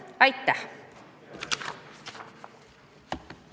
Aitäh!